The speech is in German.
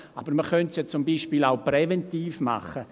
Aber man könnte es ja zum Beispiel auch präventiv machen.